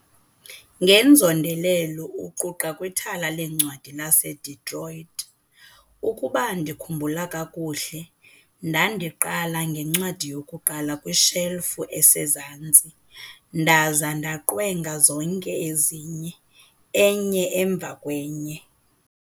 Ngenzondelelo uquqa kwithala leencwadi laseDetroit- "Ukuba ndikhumbula kakuhle, ndandiqala ngencwadi yokuqala kwishelufu esezantsi ndaza ndaqwenga zonke ezinye, enye emva kwenye.